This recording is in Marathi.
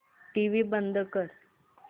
टीव्ही बंद कर